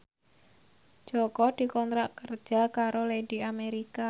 Jaka dikontrak kerja karo Lady America